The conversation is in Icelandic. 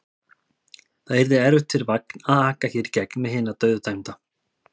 Það yrði erfitt fyrir vagn að aka hér í gegn með hinn dauðadæmda.